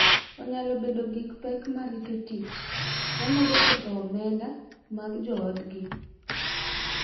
Onyalo bedo gi pek mar rito tich, ma medo ketho omenda mag joodgi.